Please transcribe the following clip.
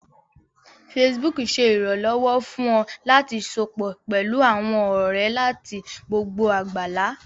Facebook ṣé ìrànlọ́wọ́ fún ọ láti sopọ̀ pẹlú àwọn ọ̀rẹ́ láti gbogbo àgbálá